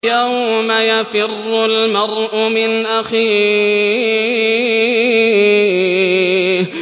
يَوْمَ يَفِرُّ الْمَرْءُ مِنْ أَخِيهِ